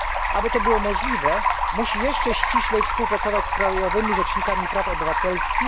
Aby to było możliwe, musi jeszcze ściślej współpracować z krajowymi rzecznikami praw obywatelskich.